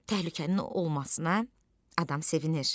Təhlükənin olmasına adam sevinir.